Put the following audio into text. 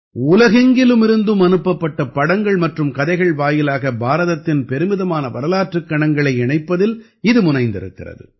உலகெங்கிலிருமிருந்தும் அனுப்பப்பட்ட படங்கள் மற்றும் கதைகள் வாயிலாக பாரதத்தின் பெருமிதமான வரலாற்றுக் கணங்களை இணைப்பதில் இது முனைந்திருக்கிறது